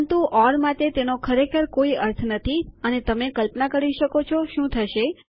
પરંતુ ઓર માટે તેનો ખરેખર કોઈ અર્થ નથી અને તમે કલ્પના કરી શકો છો શું થશે